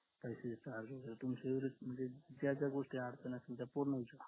तुमची काय काय गोष्टी अडचण असतील त्या पूर्ण विचरा